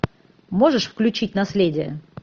можешь включить наследие